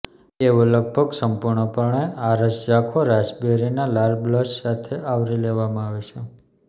તેઓ લગભગ સંપૂર્ણપણે આરસ ઝાંખો રાસબેરિનાં લાલ બ્લશ સાથે આવરી લેવામાં આવે છે